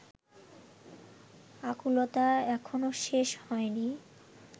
আকুলতা এখনো শেষ হয়নি